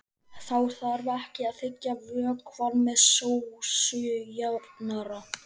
Þá þarf ekki að þykkja vökvann með sósujafnara.